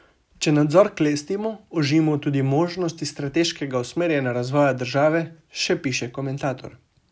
Če nadzor klestimo, ožimo tudi možnosti strateškega usmerjanja razvoja države, še piše komentator.